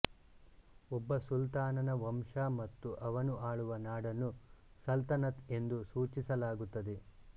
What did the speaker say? ಒಬ್ಬ ಸುಲ್ತಾನನ ವಂಶ ಮತ್ತು ಅವನು ಆಳುವ ನಾಡನ್ನು ಸಲ್ತನತ್ ಎಂದು ಸೂಚಿಸಲಾಗುತ್ತದೆ